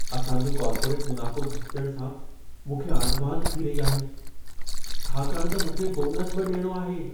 असां जो कॉर्पोरेट मुनाफ़ो घटिजण सां मूंखे आंधिमांध थी रही आहे, छाकाणि त मूंखे बोनस बि ॾियणो आहे।